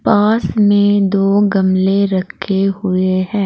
पास में दो गमले रखे हुए है।